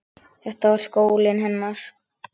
Þetta var skólinn hennar.